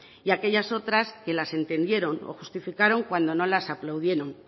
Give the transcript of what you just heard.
y a aquellas otras que las entendieron o justificaron cuando no las aplaudieron